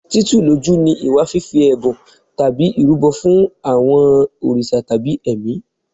Títù lójú ni ìwà fífi ẹ̀bùn tàbí ìrúbọ fún àwọn òrìṣà tàbí ẹ̀mí.